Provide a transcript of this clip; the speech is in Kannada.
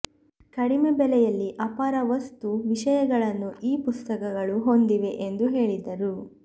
ಕಡಿಮೆ ಬೆಲೆಯಲ್ಲಿ ಅಪಾರ ವಸ್ತು ವಿಷಯಗಳನ್ನು ಈ ಪುಸ್ತಕಗಳು ಹೊಂದಿವೆ ಎಂದು ಹೇಳಿದರು